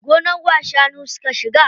Gonar wa shanu suka shiga?